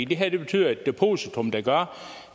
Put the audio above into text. det her betyder et depositum der gør